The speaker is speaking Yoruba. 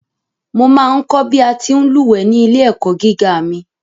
Mo ma ń kọ̀ bí a ti ń lúwẹ̀ẹ́ ní ilé-ẹ̀kọ́ gíga mi.